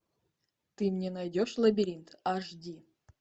ты мне найдешь лабиринт аш ди